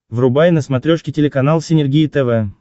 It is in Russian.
врубай на смотрешке телеканал синергия тв